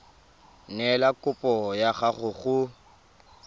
neela kopo ya gago go